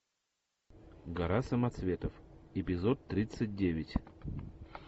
гора самоцветов эпизод тридцать девять